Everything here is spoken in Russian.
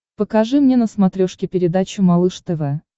покажи мне на смотрешке передачу малыш тв